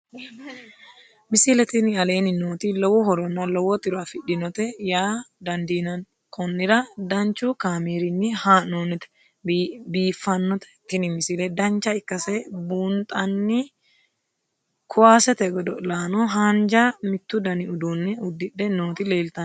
misile tini aleenni nooti lowo horonna lowo tiro afidhinote yaa dandiinanni konnira danchu kaameerinni haa'noonnite biiffannote tini misile dancha ikkase buunxanni kuwaasete godo'laanno haanja mittu dani uduunne uddidhe nooti leltannoe